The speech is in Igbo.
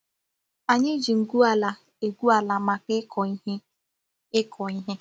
Anyi ji ngwu ala egwu ala maka iko ihe. iko ihe.